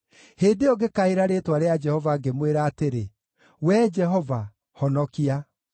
Hĩndĩ ĩyo ngĩkaĩra rĩĩtwa rĩa Jehova, ngĩmwĩra atĩrĩ: “Wee Jehova, honokia!”